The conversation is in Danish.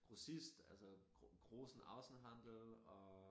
Grossist altså Groß- und Außenhandel og